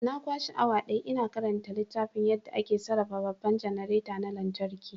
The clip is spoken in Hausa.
Na kwashe awa daya ina karanta littafin yadda ake sarrafa babban janareta na lantarki.